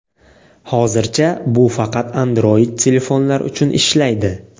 Hozircha bu faqat Android telefonlar uchun ishlaydi.